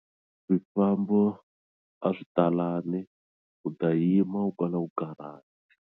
Swifambo a swi talangi u ta yima u kala u karhata.